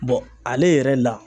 Bɔn ale yɛrɛ la